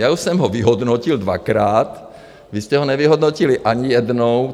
Já už jsem ho vyhodnotil dvakrát, vy jste ho nevyhodnotili ani jednou.